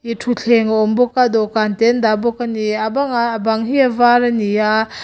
thutthleng a awm bawk a dawhkan te an dah bawk ani a bangah a bang hi a var ani a.